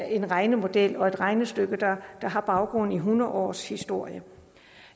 en regnemodel og et regnestykke der har baggrund i hundrede års historie